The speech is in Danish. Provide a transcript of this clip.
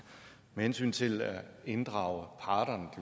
med hensyn til at inddrage parterne